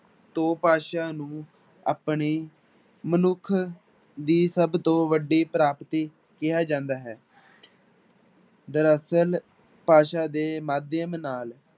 ਤੋਂ ਭਾਸ਼ਾ ਨੂੰ ਆਪਣੀ ਮਨੁੱਖ ਦੀ ਸਭ ਤੋਂ ਵੱਡੀ ਪ੍ਰਾਪਤੀ ਕਿਹਾ ਜਾਂਦਾ ਹੈ ਦਰਅਸਲ ਭਾਸ਼ਾ ਦੇ ਮਾਧਿਅਮ ਨਾਲ